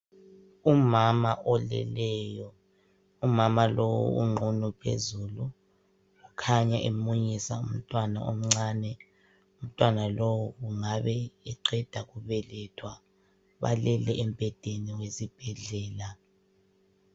Umama oleleyo, umama lowu unqunu phezulu ukhanya emunyisa umntwana omncane, umntwana lowu ungabe eqeda kubelethwa balele embhedeni wesibhedlela.